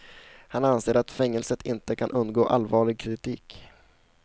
Han anser att fängelset inte kan undgå allvarlig kritik.